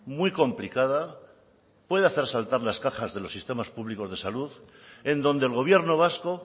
muy complicada puede hacer saltar las cajas de los sistemas públicos de salud en donde el gobierno vasco